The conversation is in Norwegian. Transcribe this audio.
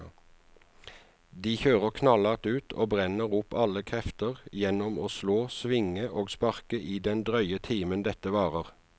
De kjører knallhardt ut og brenner opp alle krefter gjennom å slå, svinge og sparke i den drøye timen dette varer.